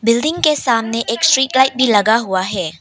Building के सामने एक स्ट्रीट लाइट भी लगा हुआ है।